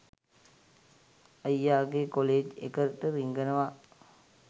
අයියා ගේ කොලෙජ් එකට රිංගනවා